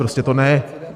Prostě to ne!